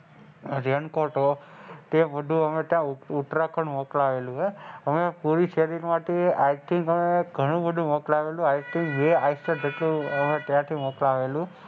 Raincoat તે બધું અમે ઉત્તરાખંડ ઉતરાવેલુ અમે પુરી શેરી માં થી i think અમે ઘણું બધું મોક્લાવેલું i think ત્યાંથી મોક્લાવેલું.